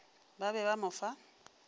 ba be ba mo fa